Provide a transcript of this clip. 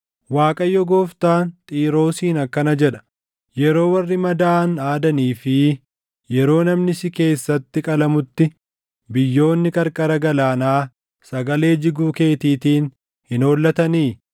“ Waaqayyo Gooftaan Xiiroosiin akkana jedha: Yeroo warri madaaʼan aadanii fi yeroo namni si keessatti qalamutti biyyoonni qarqara galaanaa sagalee jiguu keetiitiin hin hollatanii?